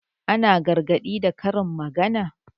Ana gargaɗi da karin magana.